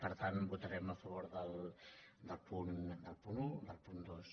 per tant votarem a favor del punt un i del punt dos